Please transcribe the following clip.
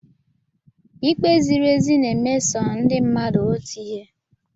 Ikpe ziri ezi na-emeso ndị mmadụ otu ihe.